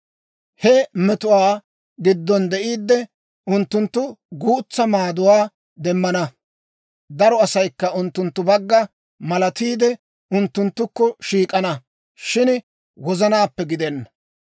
He metotuwaa giddon de'iiddi, unttunttu guutsa maaduwaa demmana; daro asaykka unttunttu bagga malatiide, unttunttukko shiik'ana; shin wozanaappe gidenna.